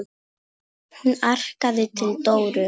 Hún arkaði til Dóru.